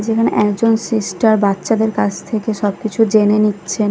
যেখানে একজন সিস্টার বাচ্চাদের কাছ থেকে সব কিছু জেনে নিচ্ছেন ।